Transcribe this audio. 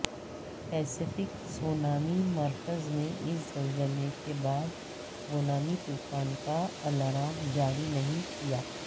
Pacific tsunami مرکز نے اس زلزلے کے بعد سونامی طوفان کا الارم جاری نہیں کیا